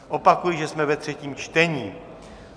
Opakuji, že jsme ve třetím čtení.